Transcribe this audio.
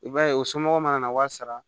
I b'a ye u somɔgɔw mana na wari sara